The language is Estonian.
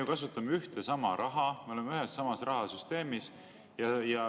Me kasutame ühte ja sama raha, me oleme ühes ja samas rahasüsteemis.